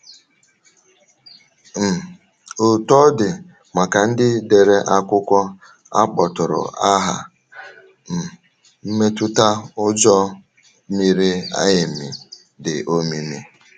um Otú ọ dị, maka ndị dere akwụkwọ a kpọtụrụ aha, um mmetụta ụjọ mịrị amị dị òmìmi.